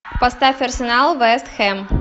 поставь арсенал вест хэм